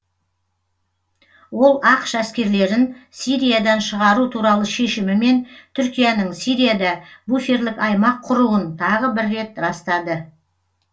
ол ақш әскерлерін сириядан шығару туралы шешімі мен түркияның сирияда буферлік аймақ құруын тағы бір рет растады